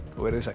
veriði sæl